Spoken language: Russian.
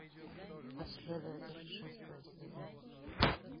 последователь шестой сезон